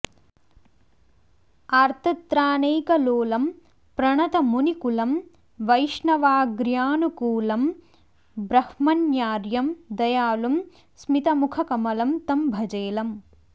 आर्तत्राणैकलोलं प्रणतमुनिकुलं वैष्णवाग्र्यानुकूलम् ब्रह्मण्यार्यं दयालुं स्मितमुखकमलं तं भजेलम्